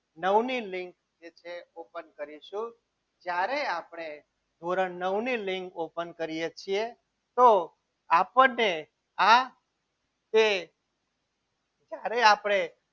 નવની લીંક જે છે એ open કરીશું જ્યારે આપણે ધોરણ નવ ની લીંક open કરીએ છીએ તો આપણને આ જે જ્યારે આપણે